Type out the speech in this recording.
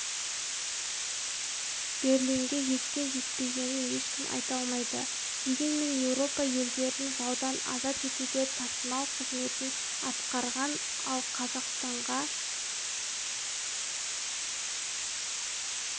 берлинге жеткен-жетпегенін ешкім айта алмайды дегенмен еуропа елдерін жаудан азат етуде тасымал қызметін атқарған ал қазақстанға